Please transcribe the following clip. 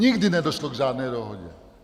Nikdy nedošlo k žádné dohodě!